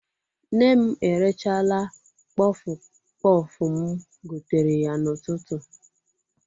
Nne m erechaala kpọfụ kpọfụ m gotere ya n'ụtụtụ.